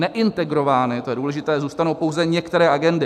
Neintegrovány, to je důležité, zůstanou pouze některé agendy.